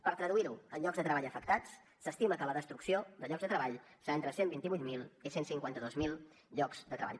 per traduir ho en llocs de treball afectats s’estima que la destrucció de llocs de treball serà entre cent i vint vuit mil i cent i cinquanta dos mil llocs de treball